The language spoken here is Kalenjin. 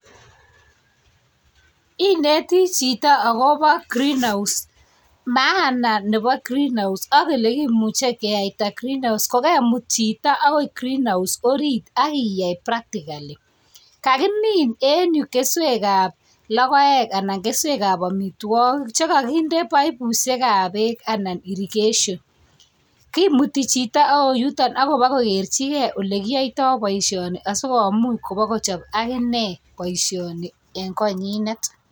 Ineti chito akobo green house maana nebo greenhouse ak ole kemuchi keyaita greenhouse ko kemut chito ako [csgreenhous e orit ak iyai practically, kakimin eng yu keswek kab logoek anan keswekab omitwogik che kakinde pipishekab beek anan irrigation kimuti chito agoi yuton ak koba kokerjigei ole kiyaitoi boisioni asi komuch koba kochob akine boisioni eng koinyinet.